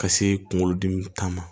Ka se kunkolodimi ta ma